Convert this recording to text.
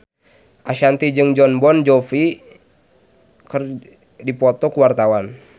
Ashanti jeung Jon Bon Jovi keur dipoto ku wartawan